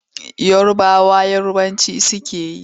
Yarabawa Yarabanci suke yi.